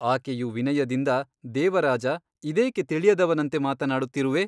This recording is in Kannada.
ಆಕೆಯು ವಿನಯದಿಂದ ದೇವರಾಜ ಇದೇಕೆ ತಿಳಿಯದವನಂತೆ ಮಾತನಾಡುತ್ತಿರುವೆ?